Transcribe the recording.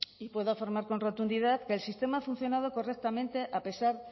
y puedo afirmar con rotundidad que el sistema ha funcionado correctamente a pesar